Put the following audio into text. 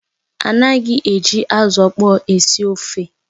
Ana eji azụ ọkpọr esi ofe